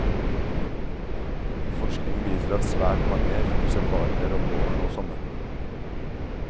Forskning viser at svært mange finner seg partnere om våren og sommeren.